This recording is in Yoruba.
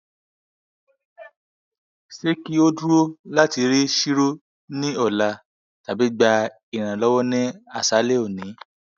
se ki oduro lati ri chiro ni ola tabi gba iranlowo ni asale oni